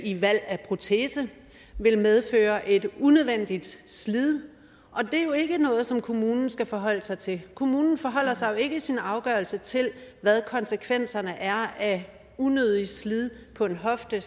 i valg af protese vil medføre et unødvendigt slid det er jo ikke noget som kommunen skal forholde sig til kommunen forholder sig jo ikke i sin afgørelse til hvad konsekvenserne er af et unødigt slid på en hofte